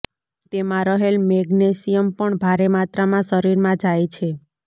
તેમાં રહેલ મેગ્નેશિયમ પણ ભારે માત્રામાં શરીરમાં જાય છે